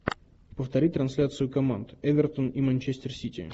повтори трансляцию команд эвертон и манчестер сити